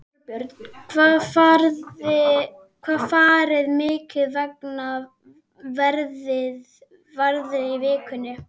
Þorbjörn: Hvað farið þið margar ferðir í viku?